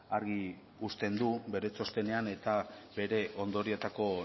argi usten du bere txostenean eta bere ondorioetako